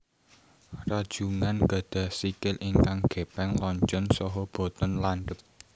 Rajungan gadhah sikil ingkang gépéng lonjong saha boten landhep